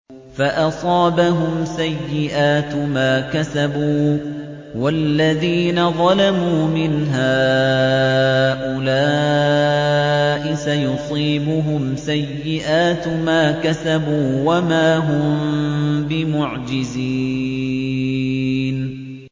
فَأَصَابَهُمْ سَيِّئَاتُ مَا كَسَبُوا ۚ وَالَّذِينَ ظَلَمُوا مِنْ هَٰؤُلَاءِ سَيُصِيبُهُمْ سَيِّئَاتُ مَا كَسَبُوا وَمَا هُم بِمُعْجِزِينَ